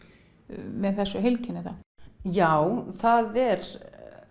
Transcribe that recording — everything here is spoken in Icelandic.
með þessu heilkenni þá já það er